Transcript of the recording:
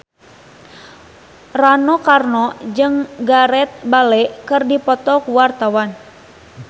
Rano Karno jeung Gareth Bale keur dipoto ku wartawan